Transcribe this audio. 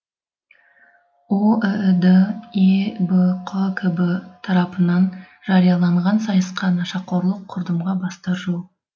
оіід ебқкб тарапынан жарияланған сайысқа нашақорлық құрдымға бастар жол